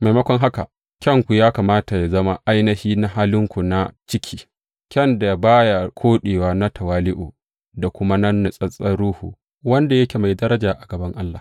Maimakon haka, kyanku ya kamata yă zama ainihi na halinku na ciki, kyan da ba ya koɗewa na tawali’u da kuma na natsattsen ruhu, wanda yake mai daraja a gaban Allah.